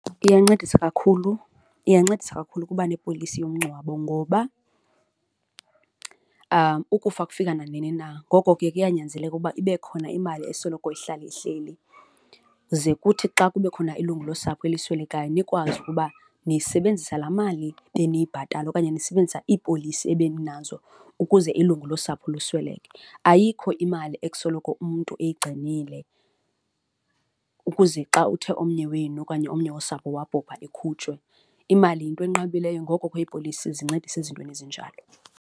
Iyancedisa kakhulu, iyancedisa kakhulu ukuba nepolisi yomngcwabo ngoba ukufa kufika nanini na, ngoko ke kuyanyanzeleka ukuba ibe khona imali esoloko ihlala ihleli. Ze kuthi xa kube khona ilungu losapho eli swelekayo nikwazi ukuba nisebenzisa laa mali beniyibhatala okanye nisebenzisa iipolisi ebeninazo ukuze ilungu losapho lusweleke. Ayikho imali ekusoloko umntu eyigcinile ukuze xa uthe omnye wenu okanye omnye wosapho wabhubha ikhutshwe, imali yinto enqabileyo ngoko ke iipolisi zincedisa ezintweni ezinjalo.